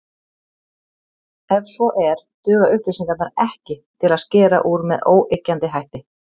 Ef svo er, duga upplýsingarnar ekki til að skera úr með óyggjandi hætti.